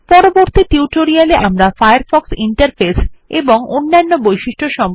পরবর্তী টিউটোরিয়াল এ আমরা ফায়ারফক্ষ ইন্টারফেস এবং অন্যান্য বিভিন্ন বৈশিষ্ট্য সম্পকে বিশদ জানব